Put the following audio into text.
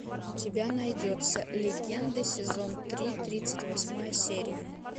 у тебя найдется легенды сезон три тридцать восьмая серия